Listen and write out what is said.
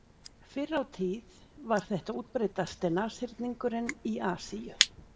fyrr á tíð var þetta útbreiddasti nashyrningurinn í asíu